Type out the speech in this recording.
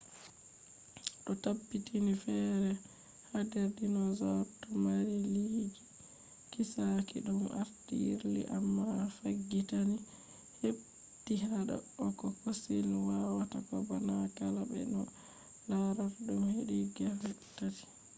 do tabbitini fere hader dinosaurs do mari liiliiji kiisaki dum arti yirli amma faggitani heti hado ko fossils wawatako bana kala be no alarata dum hedi gefe tati